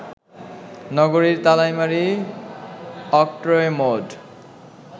নগরীর Talaimari, octroi mode